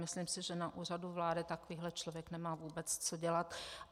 Myslím si, že na Úřadu vlády takovýhle člověk nemá vůbec co dělat.